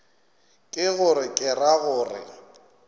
ke gore ke ra gore